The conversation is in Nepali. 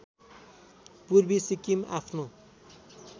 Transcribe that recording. पूर्वी सिक्किम आफ्नो